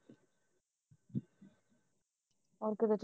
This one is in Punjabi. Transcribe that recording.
ਹੋਰ ਕਿਤੇ ਜਾਣਾ